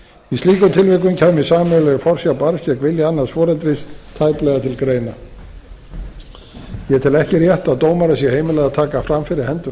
í slíkum tilvikum kæmi sameiginleg forsjá barns gegn vilja annars foreldris tæplega til greina ég tel ekki rétt að dómara sé heimilað að taka fram fyrir hendur